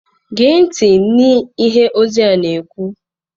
Gee ntị n'ihe ozi a na-ekwu!